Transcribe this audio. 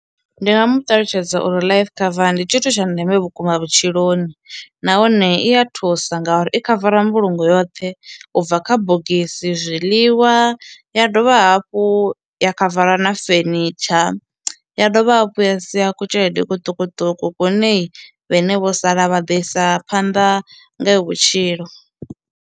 Ndi nga mu ṱalutshedza uri life cover ndi tshithu tsha ndeme vhukuma vhutshiloni nahone i ya thusa ngauri i khavara mbulungo yoṱhe u bva kha bogisi, zwiḽiwa ya dovha vha hafhu ya khavara na furniture, ya dovha hafhu ya sia ku tshelede i kuṱukuṱuku kwune vhene vho sala vha ḓo isa phanḓa ngayo vhutshilo.